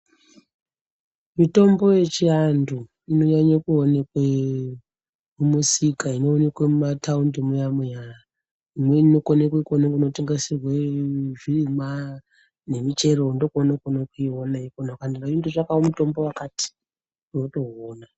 Mitombo yechiantu inonyanye kuoneke mumisika inoonekwe mumataundi muya muya imweni inokone kukone kunotengeserwe zvirimwa nemichero ndokwounokone kuiona ikwona ukai ndotsvakawo mutombo wakati unotoiona.